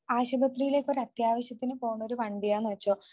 ആശുപത്രിയിലേക്കൊരു അത്യാവശ്യത്തിനു പോണ ഒരു വണ്ടി ആണെന്ന് വെച്ചോ